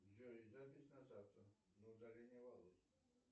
джой запись на завтра на удаление волос